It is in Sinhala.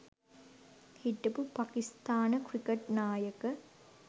හිටපු පාකිස්ථාන ක්‍රිකට් නායක